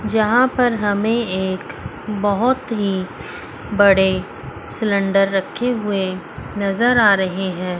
जहां पर हमें एक बहोत ही बड़े सिलेंडर रखे हुए नजर आ रहे हैं।